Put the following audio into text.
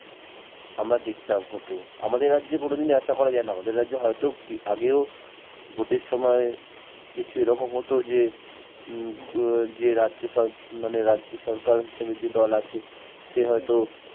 আমরা দেখতাম হত আমাদের রাজ্যে কোনদিনও আশা করা যায় না আমাদের রাজ্যে হয়তো আগেও ভোটের সময় কিছু এরকম হত যে যে রাজ্য সর মানে রাজ্য সরকার হিসেবে যে দল আছে সে হয়তো